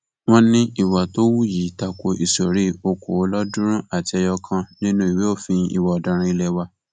wọn ní ìwà tó hù yìí ta ko ìsọrí okòólọọọdúnrún àti ẹyọ kan nínú ìwé òfin ìwà ọdaràn ilé wa